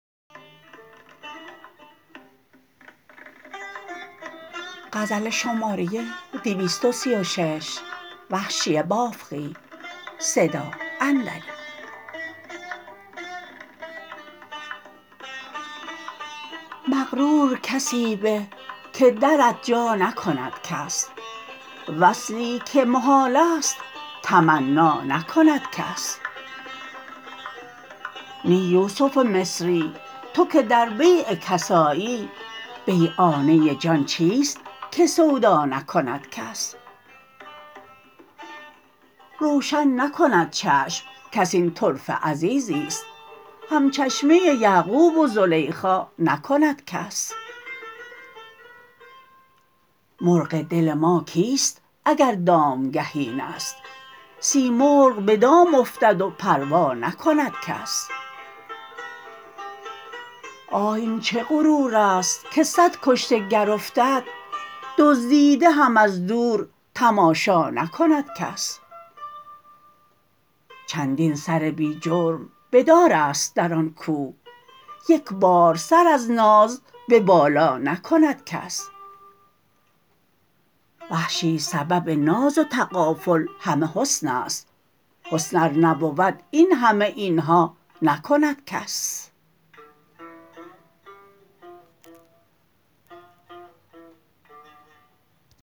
مغرور کسی به که درت جا نکند کس وصلی که محالست تمنا نکند کس نی یوسف مصری تو که در بیع کس آیی بیعانه جان چیست که سودا نکند کس روشن نکند چشم کس این طرفه عزیزیست همچشمی یعقوب و زلیخا نکند کس مرغ دل ما کیست اگر دامگه اینست سیمرغ به دام افتد و پروا نکند کس آه این چه غرور است که سد کشته گر افتد دزدیده هم از دور تماشا نکند کس چندین سر بی جرم به دار است در آن کو یک بار سر از ناز به بالا نکند کس وحشی سبب ناز و تغافل همه حسن است حسن ار نبود این همه اینها نکند کس